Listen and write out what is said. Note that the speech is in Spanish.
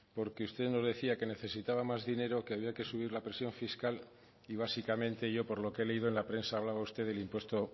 porque usted nos decía que necesitaba más dinero que había que subir la presión fiscal y básicamente yo por lo que he leído en la prensa hablaba usted del impuesto